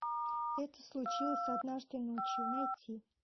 это случилось однажды ночью найти